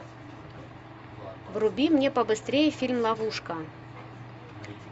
вруби мне побыстрее фильм ловушка